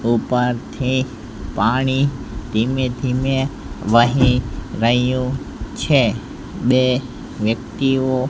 ઉપરથી પાણી ધીમે ધીમે વહી રહ્યું છે બે વ્યક્તિઓ--